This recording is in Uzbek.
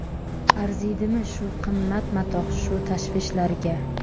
Arziydimi shu qimmat matoh shu tashvishlarga?!